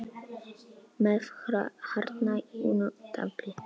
með hartnær unnu tafli.